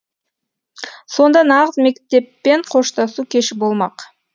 сонда нағыз мектеппен қоштасу кеші болмақ